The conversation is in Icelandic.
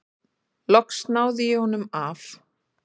Loks náði ég honum af.